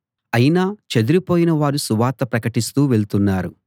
అయినా చెదరిపోయిన వారు సువార్త ప్రకటిస్తూ వెళుతున్నారు